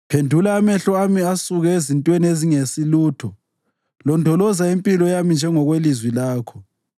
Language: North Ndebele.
Phendula amehlo ami asuke ezintweni ezingesilutho; londoloza impilo yami njengokwelizwi lakho.